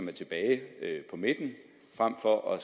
er tilbage på midten frem for at